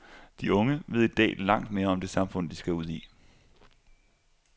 De unge ved i dag langt mere om det samfund, de skal ud i.